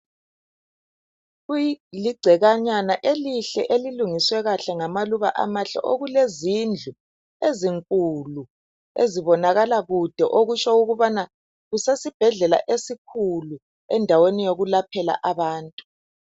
Kuligcekanyana elihle elilungiswe kuhle ngamaluba amahle okulezindlu ezinkulu ezibonakala kude okutsho ukubana kusesibhedlela esikhulu endaweni yokulaphela abantu.